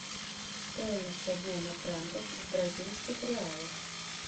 стоимость обмена франков в бразильских реалах